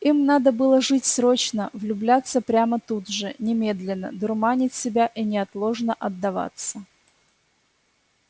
им надо было жить срочно влюбляться прямо тут же немедленно дурманить себя и неотложно отдаваться